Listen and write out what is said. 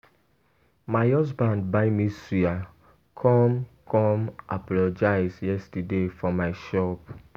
My husband buy me suya come come apologize yesterday for my shop.